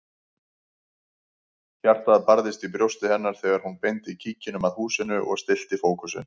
Hjartað barðist í brjósti hennar þegar hún beindi kíkinum að húsinu og stillti fókusinn.